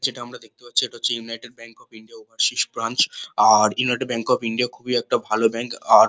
যেটা আমরা দেখতে পাচ্চি এটা হচ্ছে united bank of India overseas branch আর ইউনাইটেড ব্যাঙ্ক অফ ইন্ডিয়া খুবই একটা ভালো ব্যাঙ্ক আর--